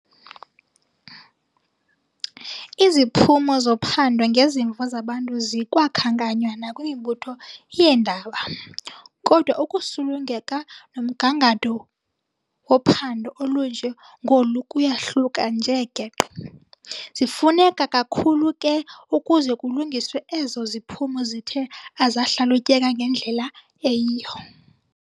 Iziphumo zophando ngezimvo zabantu zikwakhankanywa nakwimibutho yeendaba, kodwa ukusulungeka nomgangatho wophando olunje ngolu kuyahluka nje geqe. Zifuneka kakhulu ke ukuze kulungiswe ezo ziphumo zithe azahlalutyeka ngendlela eyiyo.